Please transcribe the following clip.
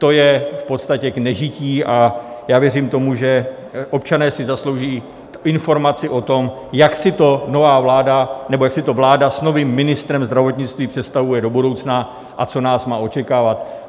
To je v podstatě k nežití a já věřím tomu, že občané si zaslouží informaci o tom, jak si to nová vláda nebo jak si to vláda s novým ministrem zdravotnictví představuje do budoucna a co nás má očekávat.